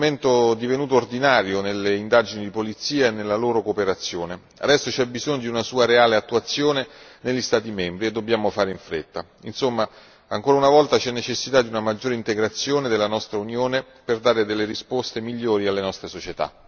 Infine, la decisione di Prüm è uno strumento divenuto ordinario nelle indagini di polizia e nella loro cooperazione, adesso c'è bisogno di una sua reale attuazione negli Stati membri e dobbiamo fare in fretta. Insomma, ancora una volta, c'è necessità di una maggiore integrazione della nostra Unione per dare delle risposte migliori alle nostre società.